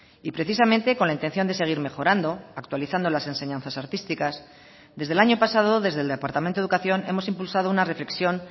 y precisamente con la intención de seguir mejorando actualizando las enseñanzas artísticas desde el año pasado desde el departamento de educación hemos impulsado una reflexión